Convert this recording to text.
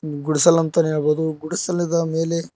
ಗುಡಿಸಲು ಅಂತಾನೆ ಹೇಳ್ಬೋದು ಗುಡಿಸಿಲದ ಮೇಲೆ--